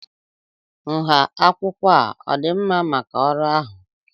nha akwụkwọ a ọ dị mma maka ọrụ ahụ?